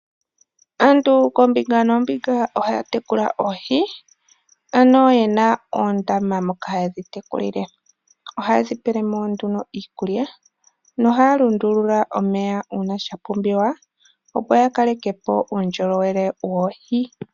Aantu koombunga noombinga ohaya, tekula oohi. Ano yena oondama moka haye dhi tekulile. Ohaye dhi pelemo nduno iikulya, nohaya lundulula omeya uuna sha pumbiwa, opo ya kalekepo uundjolowele woohi.